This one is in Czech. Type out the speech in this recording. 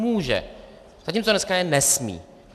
Může, zatímco dneska je nesmí.